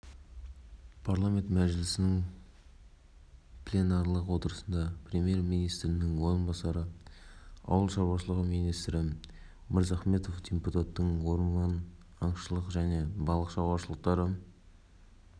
егер өткен күндері республикамызда ауа температурасы климаттық мағынадан -қа кейбір уақыттары -қа жоғары болса алдағы тәуліктерде ол төмендейді және нормадан -қа